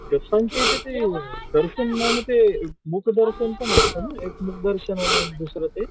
इथे ते दर्शन ते एक मुख दर्शन आणि दुसरं